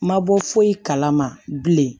Ma bɔ foyi kalama bilen